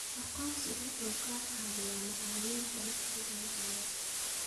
Aqoonsigu wuxuu ka caawiyaa macaamil ganacsi lacageed.